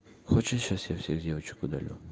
хочешь я сейчас всех-всех девочек удалю